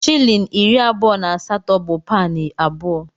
Shịlịn iri abụọ na asatọ bu paụnụ abụọ.